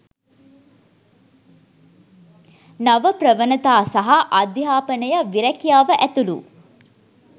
නව ප්‍රවණතා සහ අධ්‍යාපනය විරැකියාව ඇතුළු